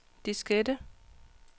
diskette